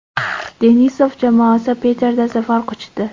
Denisov jamoasi Piterda zafar quchdi.